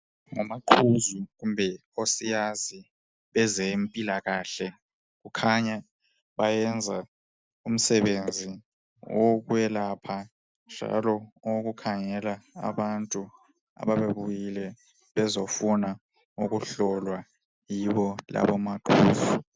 Omaqhuzu kumbe inkosiyazi ezempilakahle kukhanya bayenza umsebenzi wokwelapha njalo owokukhangela abantu ababebuyile bezofuna ukuhlolwa, yibo labo maqhuzu.